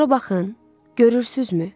Ora baxın, görürsünüzmü?